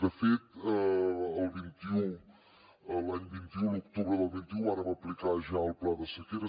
de fet el vint un l’any vint un l’octubre del vint un vàrem aplicar ja el pla de sequera